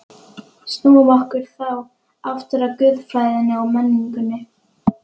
Snúum okkur þá aftur að guðfræðinni og menningunni.